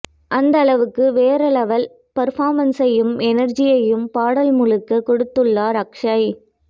அந்த அளவுக்கு வேற லெவல் பர்ஃபார்மன்ஸையும் எனர்ஜியையும் பாடல் முழுக்க கொடுத்துள்ளார் அக்ஷய்